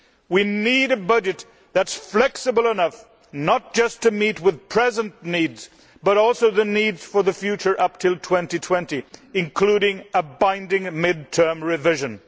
We need a budget that is flexible enough not just to meet present needs, but also the need for the future up to 2020, including a binding mid term revision.